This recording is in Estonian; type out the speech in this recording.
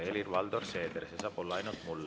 Helir-Valdor Seeder, see saab olla ainult mulle.